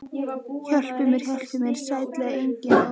Hjálpi mér, hjálpi mér, sætlega enginn, ó vei.